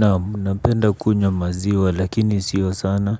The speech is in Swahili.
Naam napenda kunywa maziwa lakini sio sana.